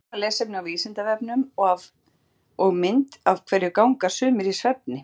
Frekara lesefni á Vísindavefnum og mynd Af hverju ganga sumir í svefni?